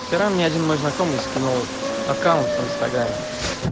вчера мне один мой знакомый скинул аккаунт в инстаграме